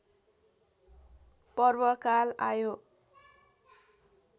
पर्वकाल आयो